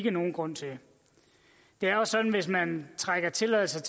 er nogen grund til det er jo sådan at hvis man trækker tilladelser